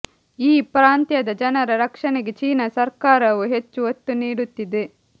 ಈ ಪ್ರಾಂತ್ಯದ ಜನರ ರಕ್ಷಣೆಗೆ ಚೀನಾ ಸರ್ಕಾರವು ಹೆಚ್ಚು ಒತ್ತು ನೀಡುತ್ತಿದೆ